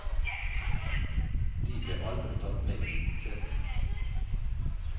De ble aldri tatt med i budsjettene.